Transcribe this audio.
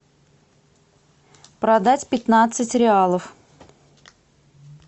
продать пятнадцать реалов